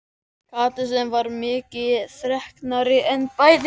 Kata sem var miklu þreknari en bæði